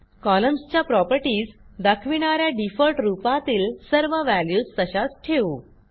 कॉलम्सच्या properties दाखविणा या default रूपातील सर्व व्हॅल्यूज तशाच ठेवू